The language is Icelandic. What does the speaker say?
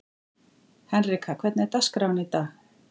Henrika, hvernig er dagskráin í dag?